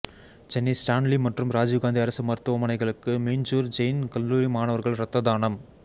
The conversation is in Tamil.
சென்னை ஸ்டான்லி மற்றும் ராஜீவ்காந்தி அரசு மருத்துவமனைகளுக்கு மீஞ்சூர் ஜெயின் கல்லூரி மாணவர்கள் இரத்ததானம்